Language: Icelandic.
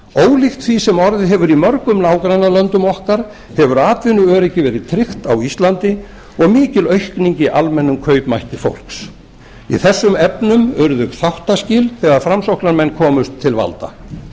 ólíkt því sem orðið hefur í mörgum nágrannalöndum okkar hefur atvinnuöryggi verið tryggt á íslandi og mikil aukning í almennum kaupmætti fólks í þessum efnum urðu þáttaskil þegar framsóknarmenn komust til valda